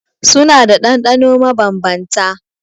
Suna da ɗanɗano mabanbanta.